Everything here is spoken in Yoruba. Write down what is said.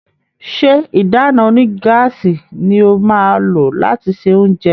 ṣe ìdáná onígáàsì ní o má lo lati ṣe oúnjẹ?